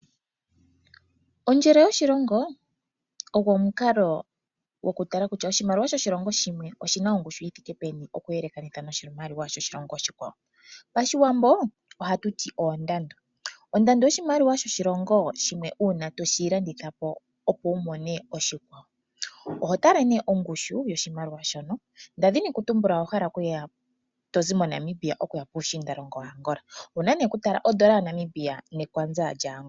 Ondjele yoshilongo ogo omukalo goku tala kutya oshimaliwa shoshilongo shimwe oshina ongushu yithike peni oku yelekanitha noshimaliwa shoshilongo oshikwawo. Pashiwambo ohatuti ondando. Ondando yoshimaliwa una toshi landithapo opo wumone oshimaliwa oshikwawo. Oho tala nee o gushu yoshimaliwa shono. Nda thini kutumbula owa hala okuya owuna nee okutala ondola yaNamibia neKwanza lya Angola.